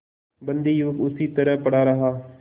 बंदी युवक उसी तरह पड़ा रहा